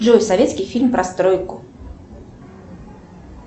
джой советский фильм про стройку